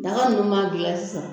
Daga ninnu maa dilan sisan